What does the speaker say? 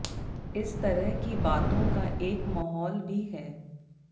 इस तरह की बातों का एक माहौल भी है